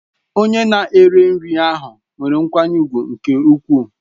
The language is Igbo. Onye na-ere nri ahụ nwere nkwanye ùgwù nke ukwuu.